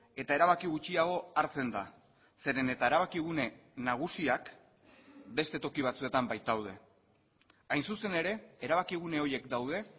eta erabaki gutxiago hartzen da zeren eta erabakigune nagusiak beste toki batzuetan baitaude hain zuzen ere erabakigune horiek daude